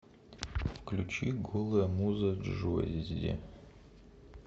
включи голая муза джоззи